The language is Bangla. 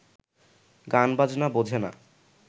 গানবাজনা বোঝে না